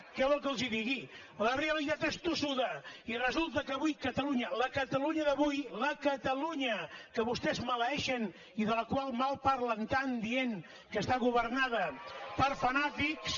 què volen que els digui la realitat és tossuda i resulta que avui catalunya la catalunya d’avui la catalunya que vostès maleeixen i de la qual malparlen tant dient que està governada per fanàtics